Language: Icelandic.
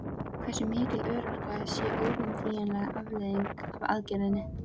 Hversu mikil örorka sé óumflýjanleg afleiðing af aðgerðinni?